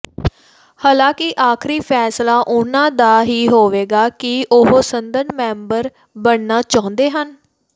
ਹਾਲਾਂਕਿ ਆਖਰੀ ਫੈਸਲਾ ਉਹਨਾਂ ਦਾ ਹੀ ਹੋਵੇਗਾ ਕਿ ਉਹ ਸੰਸਦ ਮੈਂਬਰ ਬਣਨਾ ਚਾਹੁੰਦੇ ਹਨ